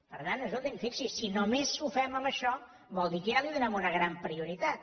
per tant escolti’m fixi’s si només ho fem amb això vol dir que ja li donem una gran prioritat